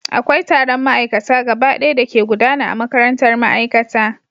Akwai taron ma'aikata gabaɗaya da ke gudana a makarantar ma'aikata